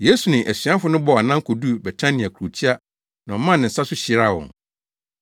Yesu ne asuafo no bɔɔ anan koduu Betania kurotia na ɔmaa ne nsa so hyiraa wɔn.